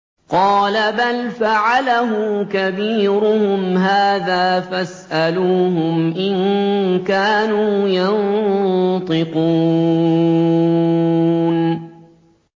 قَالَ بَلْ فَعَلَهُ كَبِيرُهُمْ هَٰذَا فَاسْأَلُوهُمْ إِن كَانُوا يَنطِقُونَ